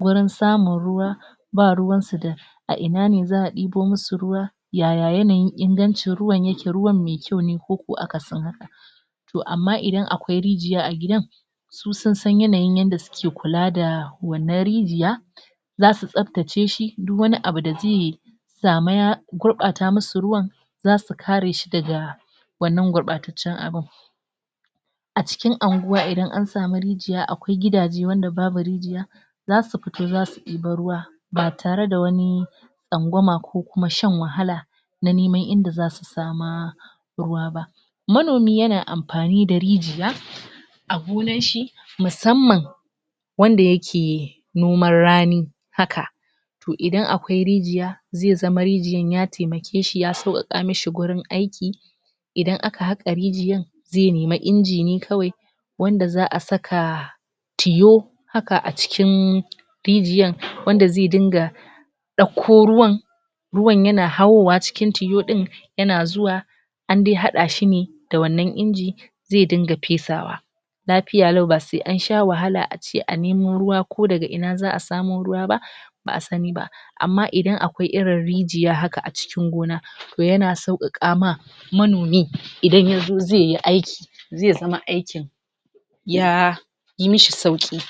gurin samun ruwa, ba ruwansu da a ina ne za ɗibo masu ruwa, ya ya yanayin ingancin ruwan yake, ruwan mai kyau ne ko kuwa akasin haka. to amma idan akwai rijiya a gidan, su sun san yanayin yanda suke kula da wannan rijiya, za su tsabtace shi duk wani abu da zai gurɓata masu ruwan za su kare shi daga wannan gurɓataccen abun. A cikin unguwa idan an samu rijiya akwai gidaje wanda babu rijiya za su fita za su ɗibo ruwa ba tare da wani tsangwama ko kuma shan wahala na neman inda za su sama ruwa ba. Manomi yana amfani da rijiya a gonarshi musamman wanda yake noman rani haka, to idan akwai rijiya zai zama rijiyan ya taimake shi ya sauƙaƙa masa wajen aiki idan aka haƙa rijiyan zai nemi inji ne kawai wanda za a saka tiyo haka a cikin rijiyan wanda zai dinga ɗakko ruwan, ruwan yan hawowa cikin tiyo ɗin yana zuwa an dai haɗa shi ne da wannan inji, zai dinga fesawa. Lafiya lau ba sai an sha wahala a ce a nemo ruwa ko daga ina za samo ruwa ba. ba a sani ba. Amma idan akwai irin rijiya haka a cikin gonaɓ to yana sauƙaƙa ma manomi idan ya zo zai yi aikin zai zama aikin ya yi mishi sauƙi.